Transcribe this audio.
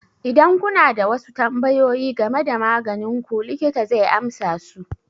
Idan kuna da wasu tambayoyi game da maganin ku, likita zai amsa su.